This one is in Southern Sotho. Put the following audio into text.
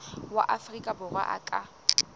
wa afrika borwa a ka